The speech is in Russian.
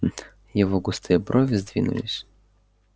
его густые брови сдвинулись